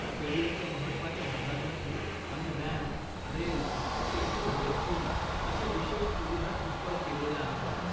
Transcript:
स्टेडीयमच्या महत्वाच्या भागांमध्ये, आम्ही रॅम्प, रेल, स्पेशल रेस्टरूम अशा विशेष सुविधा इंस्टॉल केलेल्या आहेत.